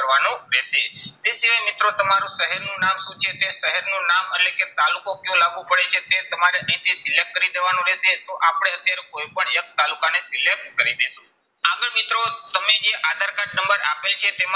નામ એટલે કે તાલુકો કયો લાગુ પડે છે તે તમારે અહીંથી select કરી દેવાનું રહેશે. તો આપણે અત્યારે કોઈ પણ એક તાલુકાને select કરી દેશું. આગળ મિત્રો તમે જે આધાર કાર્ડ નંબર આપ્યો છે